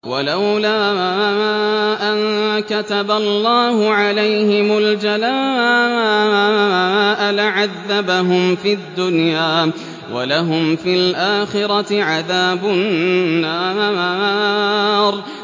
وَلَوْلَا أَن كَتَبَ اللَّهُ عَلَيْهِمُ الْجَلَاءَ لَعَذَّبَهُمْ فِي الدُّنْيَا ۖ وَلَهُمْ فِي الْآخِرَةِ عَذَابُ النَّارِ